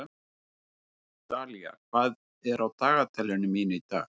Dalía, hvað er á dagatalinu mínu í dag?